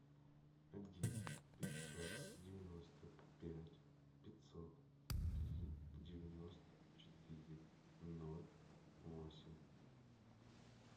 один пятьсот девяносто пять пятьсот три девяносто четыре ноль восемь